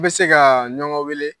Bɛ se kaa ɲɔgɔn weele